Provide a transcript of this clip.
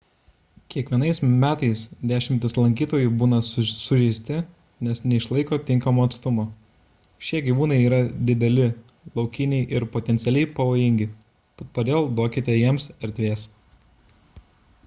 kiekvienais metais dešimtys lankytojų būna sužeisti nes neišlaiko tinkamo atstumo šie gyvūnai yra dideli laukiniai ir potencialiai pavojingi todėl duokite jiems erdvės